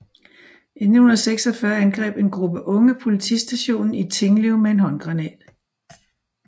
I 1946 angreb en gruppe unge politistationen i Tinglev med en håndgranat